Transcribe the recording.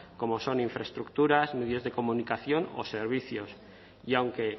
como son infraestructuras medios de comunicación o servicios y aunque